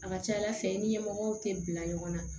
A ka ca ala fɛ i ni ɲɛmɔgɔw tɛ bila ɲɔgɔn na